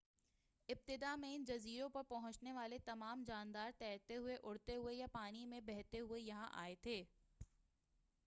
ابتداء میں ان جزیروں پر پہنچنے والے تمام جاندار تیرتے ہوئے اڑتے ہوئے یا پانی میں بہتے ہوئے یہاں آئے تھے